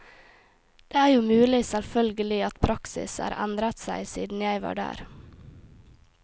Det er jo mulig selvfølgelig at praksis er endret seg siden jeg var der.